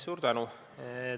Suur tänu!